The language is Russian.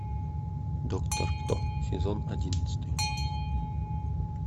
доктор кто сезон одиннадцатый